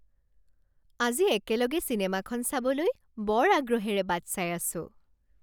আজি একেলগে চিনেমাখন চাবলৈ বৰ আগ্ৰহেৰে বাট চাই আছো